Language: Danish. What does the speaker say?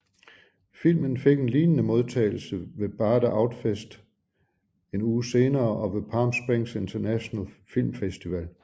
Filmen fik en lignende modtagelse ved bade Outfest en uge senere og ved Palm Springs Internationale Filmfestival